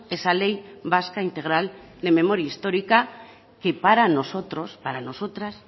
esa ley vasca integral de memoria histórica que para nosotros y para nosotras